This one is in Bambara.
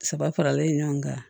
Saba faralen ɲɔgɔn kan